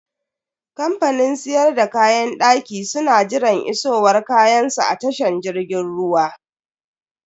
Kamfanin siyar da kayan daki su na jiran isowar kayansu a tashan jirgin ruwa.